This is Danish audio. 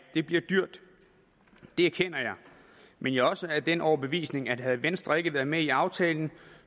det bliver dyrt det erkender jeg men jeg er også af den overbevisning at havde venstre ikke været med i aftalen